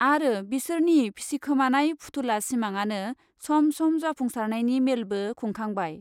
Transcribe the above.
आरो बिसोरनि फिसिखोमानाय फुथुला सिमांआनो सम सम जाफुंसारनायनि मेलबो खुंखांबाय।